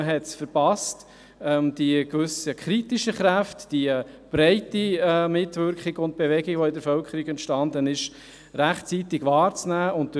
Man hat es verpasst, die kritischen Kräfte, die breite Mitwirkung und Bewegung, die in der Bevölkerung entstanden sind, rechtzeitig wahrzunehmen.